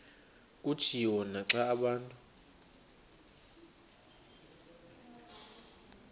kutshiwo naxa abantu